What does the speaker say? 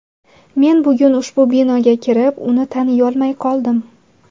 Men bugun ushbu binoga kirib, uni taniyolmay qoldim.